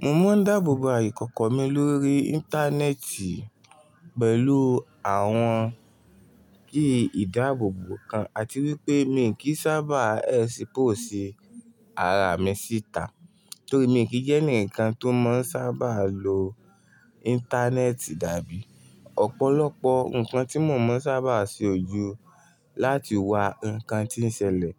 Mo máa ń dáàbòbo aìkọ̀kọ̀ mi lórí Íńtánẹ́ẹ̀tì pẹ̀lú àwọn kíì dáàbòbò kan àti wípé mi kì í sábà expose ara mi síta torí mi kì í jẹ́ ẹnìkan tó máa ń sábà lo Íńtánẹ́ẹ̀tì dàbí. Ọ̀pọ̀lọpọ̀ nǹkan tí mo máa ń sábà ṣe òju láti wá ǹkan tí ń ṣẹlẹ̀,